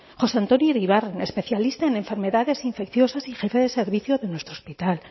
josé antonio iribarren especialista en enfermedades infecciosas y jefe de servicio de nuestro hospital